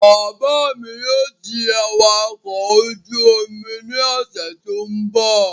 Bàbá mi yóò di awakọ̀ ojú-omi ní ọ̀sẹ̀ tó n bọ̀